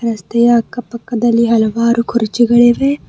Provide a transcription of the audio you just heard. ರಸ್ತೆಯ ಅಕ್ಕ ಪಕ್ಕದಲ್ಲಿ ಹಲವಾರು ಕುರ್ಚಿಗಳಿವೆ.